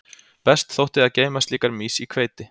Best þótti að geyma slíkar mýs í hveiti.